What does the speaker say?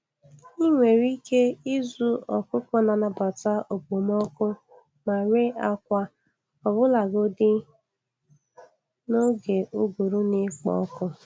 Ị nwere ike ịzụ ọkụkọ na-anabata okpomọkụ ma ree akwa, ọbụlagodi n'oge ụgụrụ na-ekpo ọkụ.